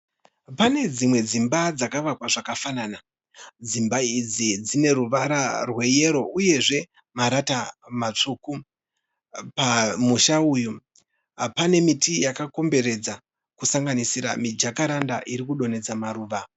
Pane dzimwe dzimba dzakavakwa zvakafanana. Dzimba idzi dzine ruvara rweyero uyezve marata matsvuku. Pamusha uyu pane miti yakakomberedza kusanganisira mijakaranda iri kudonhedza maruva.